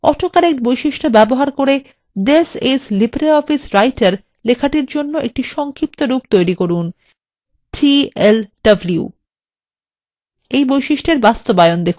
auto correct বৈশিষ্ট্য ব্যবহার করে this is libreoffice writer লেখার জন্য একটি সংক্ষিপ্তরূপ তৈরি করুনtlw এর বাস্তবায়ন দেখুন